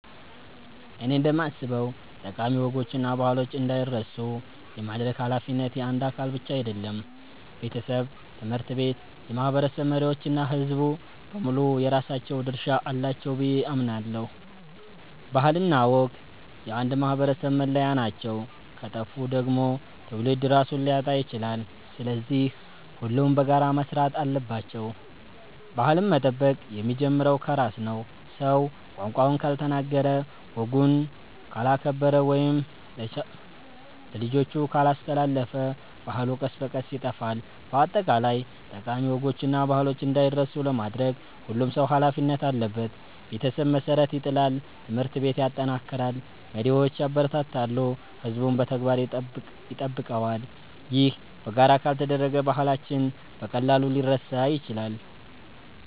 እኔ እንደማስበው ጠቃሚ ወጎችና ባህሎች እንዳይረሱ የማድረግ ኃላፊነት የአንድ አካል ብቻ አይደለም። ቤተሰብ፣ ትምህርት ቤት፣ የማህበረሰብ መሪዎች እና ሕዝቡ በሙሉ የራሳቸው ድርሻ አላቸው ብዬ አምናለሁ። ባህልና ወግ የአንድ ማህበረሰብ መለያ ናቸው፤ ከጠፉ ደግሞ ትውልድ ራሱን ሊያጣ ይችላል። ስለዚህ ሁሉም በጋራ መስራት አለባቸው። ባህልን መጠበቅ የሚጀምረው ከራስ ነው። ሰው ቋንቋውን ካልተናገረ፣ ወጉን ካላከበረ ወይም ለልጆቹ ካላስተላለፈ ባህሉ ቀስ በቀስ ይጠፋል። በአጠቃላይ ጠቃሚ ወጎችና ባህሎች እንዳይረሱ ለማድረግ ሁሉም ሰው ኃላፊነት አለበት። ቤተሰብ መሠረት ይጥላል፣ ትምህርት ቤት ያጠናክራል፣ መሪዎች ያበረታታሉ፣ ሕዝቡም በተግባር ይጠብቀዋል። ይህ በጋራ ካልተደረገ ባህላችን በቀላሉ ሊረሳ ይችላል።